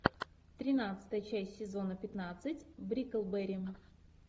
тринадцатая часть сезона пятнадцать бриклберри